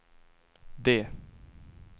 D